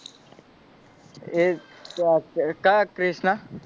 એક ક ક્યાં ક્રીશનાં,